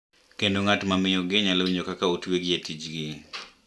Kendo ng’at ma miyogi nyalo winjo ka otwegi e tijgi.